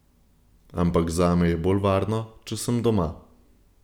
Ampak zame je bolj varno, če sem doma.